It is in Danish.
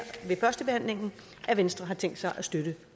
ved førstebehandlingen at venstre har tænkt sig at støtte